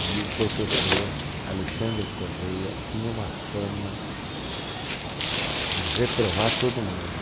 E o professor Alexandre Correia tinha uma fama de reprovar todo mundo.